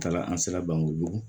N taara an sera bankojugu